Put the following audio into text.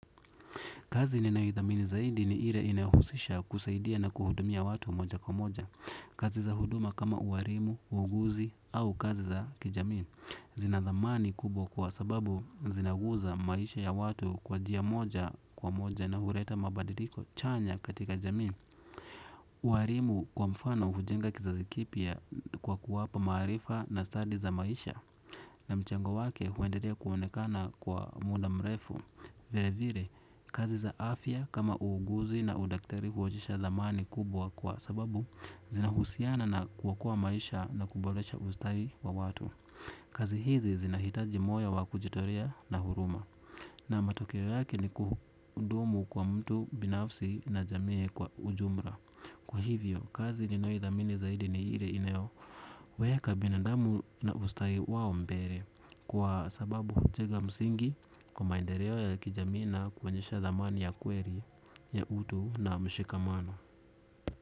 Kazi ninayoithamini zaidi ni ile inayohusisha kusaidiana kuhudumia watu moja kwa moja. Kazi za huduma kama ualimu, uuguzi au kazi za kijamii. Zinathamani kubwa kwa sababu zinaguza maisha ya watu kwa njia moja kwa moja na huleta mabadiliko chanya katika jami. Ualimu kwa mfano hujenga kizazi kipy kwa kuwapa maarifa na stadi za maisha. Na mchango wake huendelea kuonekana kwa muda mrefu. Vilevile, kazi za afya kama uuguzi na udaktari huonyesha thamani kubwa kwa sababu zinahusiana na kuokoa maisha na kuboresha ustawi wa watu. Kazi hizi zinahitaji moya wa kujitolea na huruma. Na matokeo yake ni kuhudumu kwa mtu binafsi na jamii kwa ujumla. Kwa hivyo, kazi ninayoithamini zaidi ni ile inayo. Imeweka binadamu na ustawi wao mbele. Kwa sababu hujenga msingi kwa maendeleo ya kijamii na kuonyesha thamani ya kweli ya utu na mshikamano.